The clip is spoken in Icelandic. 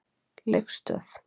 Leifsstöð